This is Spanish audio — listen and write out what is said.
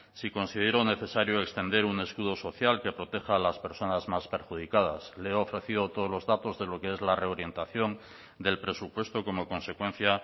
si considero necesario extender un escudo social que proteja a las personas más perjudicadas le he ofrecido todos los datos de lo que es la reorientación del presupuesto como consecuencia